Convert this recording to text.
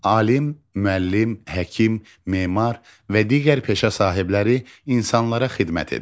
Alim, müəllim, həkim, memar və digər peşə sahibləri insanlara xidmət edir.